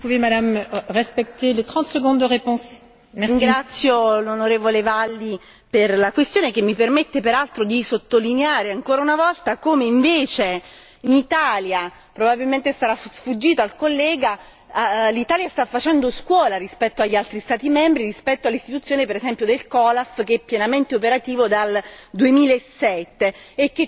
Ringrazio l'onorevole Valli per la domanda che mi permette peraltro di sottolineare ancora una volta come invece l'Italia probabilmente sarà sfuggito al collega stia facendo scuola rispetto agli altri Stati membri, rispetto all'istituzione del COLAF, che è pienamente operativo dal 2007 e che coordina tutte quante le attività che sono